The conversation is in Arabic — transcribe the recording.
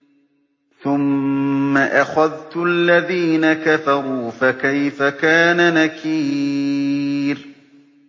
ثُمَّ أَخَذْتُ الَّذِينَ كَفَرُوا ۖ فَكَيْفَ كَانَ نَكِيرِ